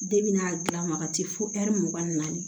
De bɛna gilan magati fo ɛri mugan ni naani